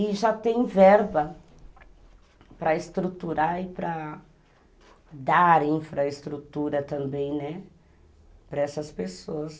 E já tem verba para estruturar e para dar infraestrutura também, né, para essas pessoas.